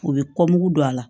U bɛ don a la